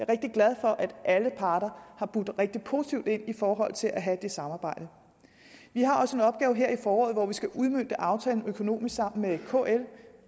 rigtig glad for at alle parter har budt rigtig positivt ind i forhold til at have det samarbejde vi har også en opgave her i foråret hvor vi skal udmønte aftalen økonomisk sammen med kl